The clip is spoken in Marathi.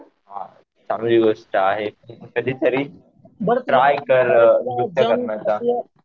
हा. चांगली गोष्ट आहे. कधीतरी ट्राय कर नृत्य करण्याचं.